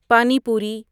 پانی پوری